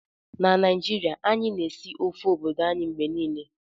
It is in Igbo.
Na Naijiria, anyị na-esi ofe obodo anyị mgbe niile